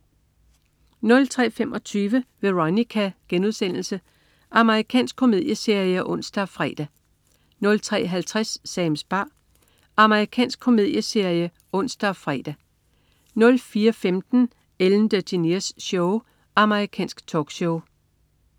03.25 Veronica.* Amerikansk komedieserie (ons og fre) 03.50 Sams bar. Amerikansk komedieserie (ons og fre) 04.15 Ellen DeGeneres Show. Amerikansk talkshow